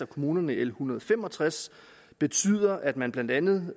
kommunerne i l en hundrede og fem og tres betyder at man blandt andet